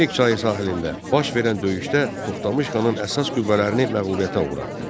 Terek çayı sahilində baş verən döyüşdə Toxtamış xanın əsas qüvvələrini məğlubiyyətə uğratdı.